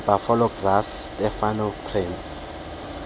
nebuffalo grass stenotaphrum